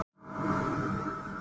Stendur við steininn.